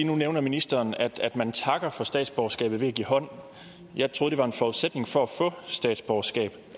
nu nævner ministeren at man takker for statsborgerskabet ved at give hånd jeg troede det var en forudsætning for at få statsborgerskab